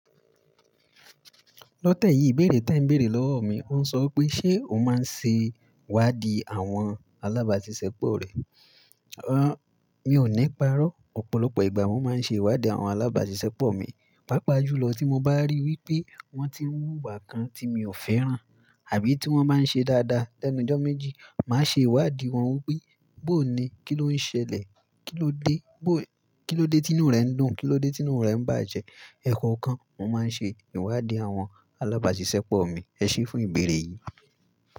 Lọ tẹ́yì ìbéèrè tí ẹ ń béèrè lọ́wọ́ mi. Ó ń sọ pé ṣe o máa ń ṣe ìwádìí àwọn alábàáṣiṣẹ́ pọ̀ rẹ? Rárá, mi ò níparọ́. Ọ̀pọ̀lọpọ̀ ìgbà mo máa ń ṣe ìwádìí àwọn alábàáṣiṣẹ́ pọ̀ mi. Pápa jùlọ tí mo bá rí wí pé wọ́n ti ń wúwà kan tí mi ò fẹ́ràn àbí tí wọ́n bá ń ṣe dáadáa lẹ́nu jọ́ méjì. Máa ṣe ìwádìí wọn wí pe, bóo ni? Kí ló ń ṣẹlẹ̀? Kí ló dé? Kí ló dé tí inú rẹ ń dùn? Kí ló dé tí inú rẹ ń bàjẹ́? Ẹkọ̀ kan, mo máa ń ṣe ìwádìí àwọn alábàáṣiṣẹ́ pọ̀ mi. Ẹ ṣé fún ìbéèrè yìí.